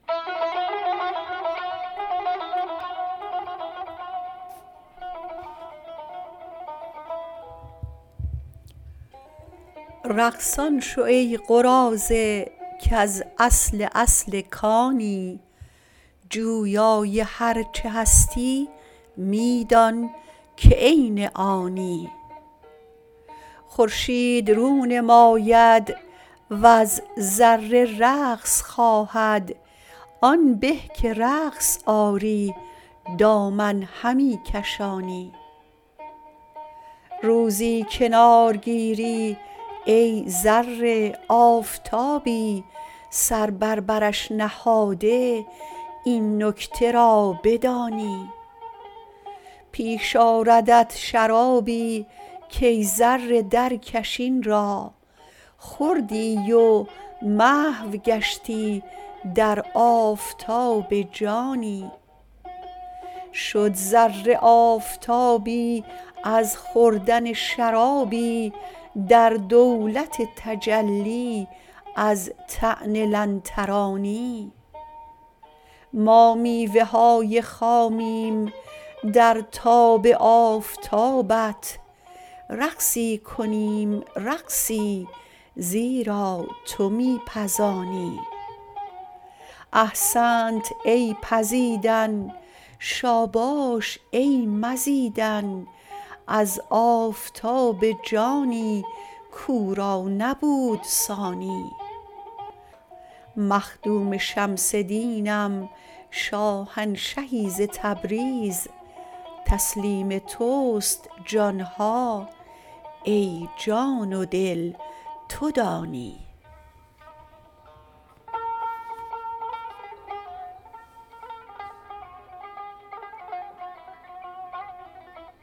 رقصان شو ای قراضه کز اصل اصل کانی جویای هر چه هستی می دانک عین آنی خورشید رو نماید وز ذره رقص خواهد آن به که رقص آری دامن همی کشانی روزی کنار گیری ای ذره آفتابی سر بر برش نهاده این نکته را بدانی پیش آردت شرابی کای ذره درکش این را خوردی و محو گشتی در آفتاب جانی شد ذره آفتابی از خوردن شرابی در دولت تجلی از طعن لن ترانی ما میوه های خامیم در تاب آفتابت رقصی کنیم رقصی زیرا تو می پزانی احسنت ای پزیدن شاباش ای مزیدن از آفتاب جانی کو را نبود ثانی مخدوم شمس دینم شاهنشهی ز تبریز تسلیم توست جان ها ای جان و دل تو دانی